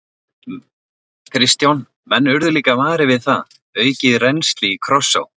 Kristján: Menn urðu líka varir við það, aukið rennsli í Krossá?